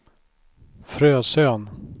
Frösön